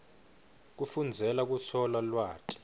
kufundzela kutfola lwati